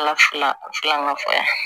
Ala fila filanan fa